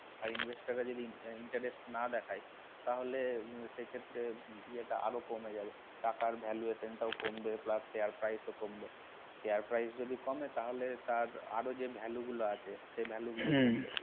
আর investor রা যদি interest না দেখায় তাহলে সে ক্ষেত্রে এটা আরো কমে যাবে টাকার valuation টা কমে যাবে plus share price টাও কমবে share price এ যদি কমে তাহলে তার আরও যে value গুলা আছে